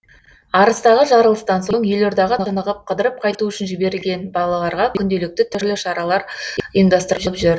арыстағы жарылыстан соң елордаға тынығып қыдырып қайту үшін жіберілген балаларға күнделікті түрлі шаралар ұйымдастырылып жүр